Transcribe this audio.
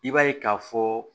I b'a ye k'a fɔ